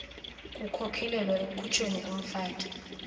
kukhokelela ekukhutshweni komfaki